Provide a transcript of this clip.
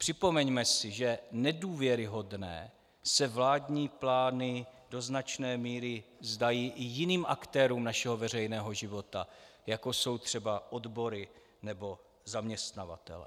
Připomeňme si, že nedůvěryhodné se vládní plány do značné míry zdají i jiným aktérům našeho veřejného života, jako jsou třeba odbory nebo zaměstnavatelé.